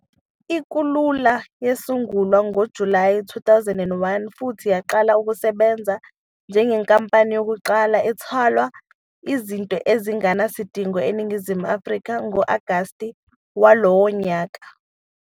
I-Kulula yasungulwa ngoJulayi 2001 futhi yaqala ukusebenza njengenkampani yokuqala ethwala izinto ezingenasidingo eNingizimu Afrika ngo-August walowo nyaka.